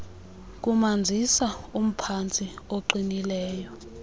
kumanzisa umphantsi oqinileyo